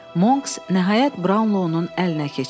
Monks nəhayət Brownlow-un əlinə keçir.